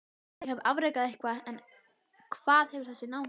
Ég hef afrekað eitthvað en hvað hefur þessi náungi gert?